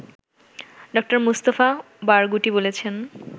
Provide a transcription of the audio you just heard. ড: Mustafa Barghouti বলেছেন